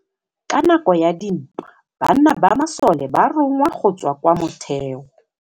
Ka nakô ya dintwa banna ba masole ba rongwa go tswa kwa mothêô.